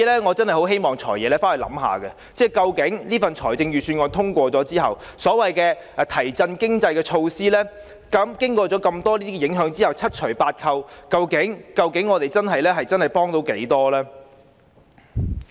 我真的希望"財爺"回去想想，究竟這份預算案在通過後，那些所謂提振經濟的措施，經過上述各項影響，在七除八扣後，究竟能幫助市民多少呢？